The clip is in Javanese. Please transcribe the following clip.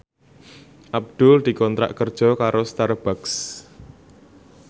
Abdul dikontrak kerja karo Starbucks